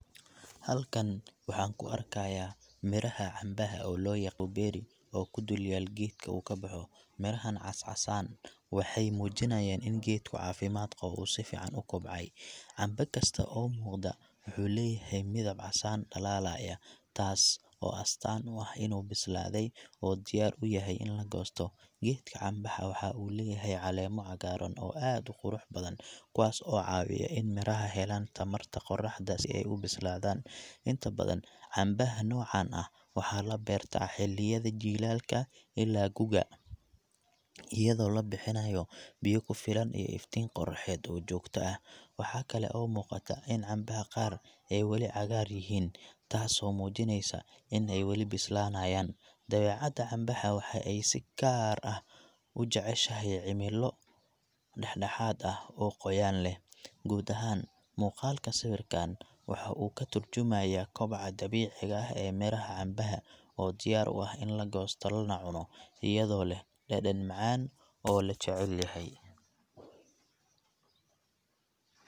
Halkan waxaan ku arkayaa miraha cambaha, oo loo yaqo berry, oo ku du lyaal geedka uu ka baxo. Mirahan cas-casan waxay muujinayaan in geedku caafimaad qabo oo si fiican u kobcay. Camba kasta oo muuqda waxuu leeyahay midab casaan dhalaalaya, taas oo astaan u ah inuu bislaaday oo diyaar u yahay in la goosto. Geedka cambaha waxa uu leeyahay caleemo cagaaran oo aad u qurux badan, kuwaas oo caawiya in miraha helaan tamarta qorraxda si ay u bislaadaan. Inta badan, cambaha noocan ah waxaa la beertaa xilliyada jiilaalka ilaa guga, iyadoo la bixinayo biyo ku filan iyo iftiin qoraxeed oo joogto ah. Waxaa kale oo muuqata in cambaha qaar ay weli cagaar yihiin, taasoo muujinaysa in ay weli bislaanayaan. Dabeecadda cambaha waxa ay si gaar ah u jeceshahay cimilo dhexdhexaad ah oo qoyaan leh. Guud ahaan, muuqaalka sawirkaan waxa uu ka tarjumayaa koboca dabiiciga ah ee miraha cambaha, oo diyaar u ah in la goosto lana cuno, iyadoo leh dhadhan macaan oo la jecel yahay.